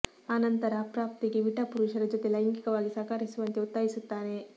ಅ ನಂತರ ಅಪ್ರಾಪ್ತೆಗೆ ವಿಟ ಪುರುಷರ ಜೊತೆ ಲೈಂಗಿಕವಾಗಿ ಸಹಕರಿಸುವಂತೆ ಒತ್ತಾಯಿಸುತ್ತಾನೆ